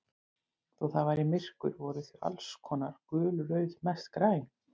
Þó það væri myrkur voru þau alls konar, gul, rauð, mest græn.